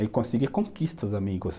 É conseguir conquista, os amigos.